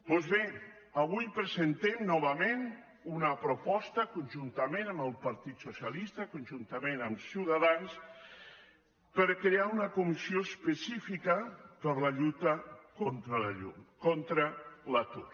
doncs bé avui presentem novament una proposta conjuntament amb el partit socialista conjuntament amb ciutadans per crear una comissió específica per a la lluita contra l’atur